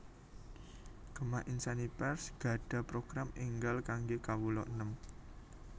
Gema Insani Press gadhah program enggal kangge kawula enem